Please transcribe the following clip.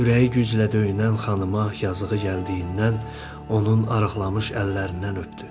Ürəyi güclə döyünən xanıma yazığı gəldiyindən onun arıqlamış əllərindən öpdü.